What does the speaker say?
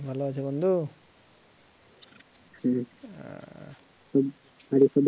ভালো আছি বন্ধু হম